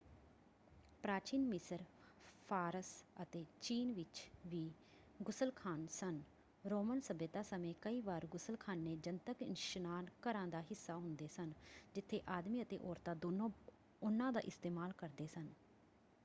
ਪ੍ਰਾਚੀਨ ਮਿਸਰ ਫ਼ਾਰਸ ਅਤੇ ਚੀਨ ਵਿੱਚ ਵੀ ਗੁਸਲਖ਼ਾਨ ਸਨ। ਰੋਮਨ ਸੱਭਿਅਤਾ ਸਮੇਂ ਕਈ ਵਾਰ ਗੁਸਲਖ਼ਾਨੇ ਜਨਤਕ ਇਸ਼ਨਾਨ ਘਰਾਂ ਦਾ ਹਿੱਸਾ ਹੁੰਦੇ ਸਨ ਜਿੱਥੇ ਆਦਮੀ ਅਤੇ ਔਰਤਾਂ ਦੋਨੋਂ ਉਹਨਾਂ ਦਾ ਇਸਤੇਮਾਲ ਕਰਦੇ ਸਨ।